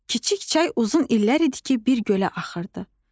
Kiçik çay uzun illər idi ki, bir gölə axırdı.